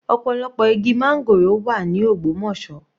Ọ̀pọ̀lọpọ̀ igi máńgòrò wà ní Ogbomosọ.